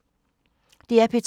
DR P2